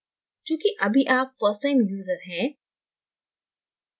चूँकि अभी आप first time user हैं